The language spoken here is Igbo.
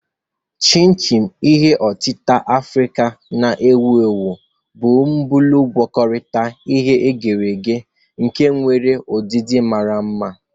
Chin-chin, ihe otita Afrịka na-ewu ewu, bụ bọọlụ agwakotara e ghere eghe nke nwere udidi mara mma.